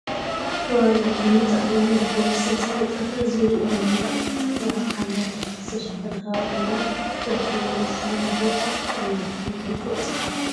ከባቢኡ ብምንፃፍ እምኒ /ብኮብልስቶን/ ዝተነፀፈ ዙርይኡ ብመንድቅ ዝተካበበ ብሓምለዋይ ኣትክልቲ ዝተሸፈነ ከባቢ ኮይኑ ዝርከበሉ ፍሉ ቦታ ኣበይ ምኳኑ ብንፁር ፀሓፍ ?